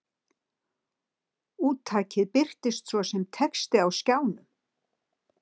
Úttakið birtist svo sem texti á skjánum.